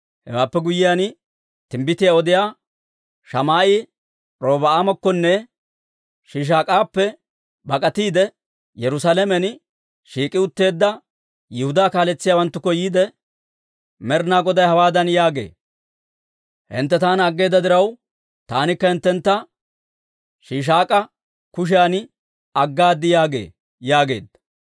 Hewaappe guyyiyaan, timbbitiyaa odiyaa Shamaa'e Robi'aamakkonne Shiishaak'appe bak'atiide, Yerusaalamen shiik'i utteedda Yihudaa kaaletsiyaawanttukko yiide, «Med'inaa Goday hawaadan yaagee; ‹Hintte taana aggeeda diraw, taanikka hinttentta Shiishaak'a kushiyan aggaad› yaagee» yaageedda.